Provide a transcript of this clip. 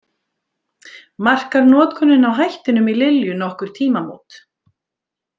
Markar notkunin á hættinum í Lilju nokkur tímamót.